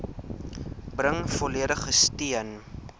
bring volledige steun